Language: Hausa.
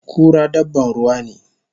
Kura dabban ruwa ne